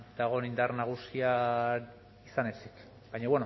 dagoen indar nagusia izan ezik baina